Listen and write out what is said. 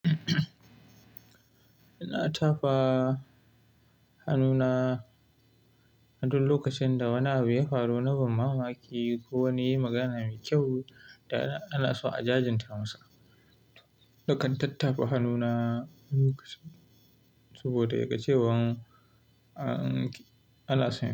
Ina tafa hannuna aduk lokacin da wani abu ya faru, na ban mamaki ko wani ya yi magana mai kyau da ana so a jajinta masa. Nakan tattafa hannuna lokacin, saboda ya ga cewan ana so ya yi.